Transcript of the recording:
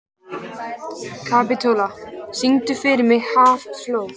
Kapitola, syngdu fyrir mig „Háflóð“.